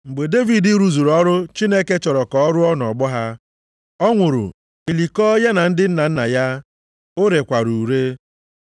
“Mgbe Devid rụzuru ọrụ Chineke chọrọ ka ọ rụọ nʼọgbọ ha, ọ nwụrụ, e likọọ ya na ndị nna nna ya ha o rekwara ure.